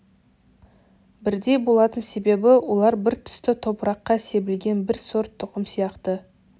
бірдей болатын себебі олар бір түсті топыраққа себілген бір сорт тұқым сияқты